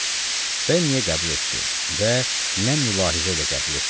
Bəy niyə qəbul etdi və nə mülahizə ilə qəbul etdi?